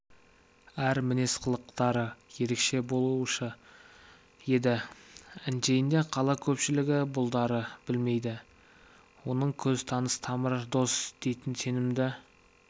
әр мінез-қылықтары ерекше болушы еді әншейінде қала көпшілігі бұларды білмейді оның көз таныс тамыр-дос дейтін сенімді